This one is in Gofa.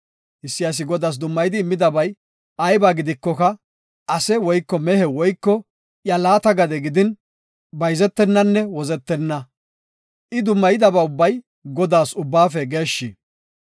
Issi asi Godaas dummayidi immidabay ayba gidikoka, ase woyko mehe woyko iya laata gade gidin, bayzetenanne wozetenna. I dummayidaba ubbay Godaas Ubbaafe geeshshi.